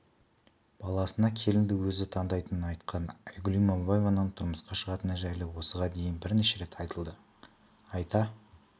баласына келінді өзі таңдайтынын айтқан айгүл иманбаеваның тұрмысқа шығатыны жайлы осыған дейін бірнеше рет айтылды айта